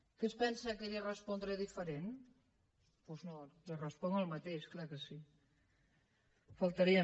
què es pensa que li respondré diferentment doncs no li responc el mateix clar que sí només faltaria